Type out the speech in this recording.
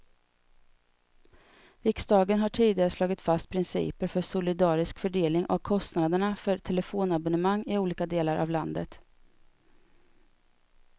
Riksdagen har tidigare slagit fast principer för solidarisk fördelning av kostnaderna för telefonabonnemang i olika delar av landet.